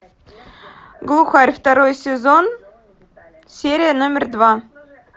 глухарь второй сезон серия номер два